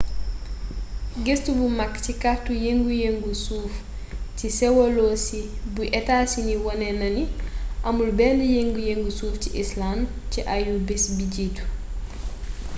gëstu bu mag ci kartu yëngu-yëngu suuf ci sewolosi bu etaa sini wone na ni amul benn yëngu-yëngu suuf ci icelànd ci ayu-bis bi jiitu